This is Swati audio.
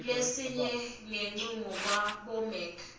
kulesinye ngekuncuma kwabomec